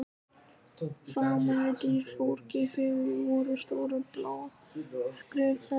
Framan við dyr forkirkjunnar voru stórar blágrýtishellur.